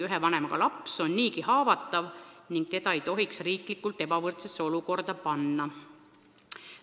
Ühe vanemaga laps on niigi haavatav ning riik ei tohiks teda ebavõrdsesse olukorda panna.